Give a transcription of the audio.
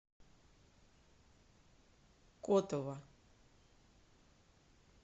котово